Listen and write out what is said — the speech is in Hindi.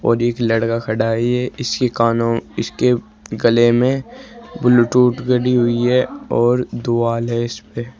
और एक लड़का खड़ा है ये। इसके कानों इसके गले में ब्लुटूथ गडी हुई है और दोआल है इसपे।